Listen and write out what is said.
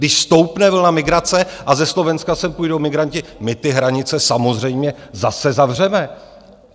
Když stoupne vlna migrace a ze Slovenska sem půjdou migranti, my ty hranice samozřejmě zase zavřeme.